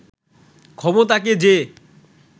ক্ষমতাকে যে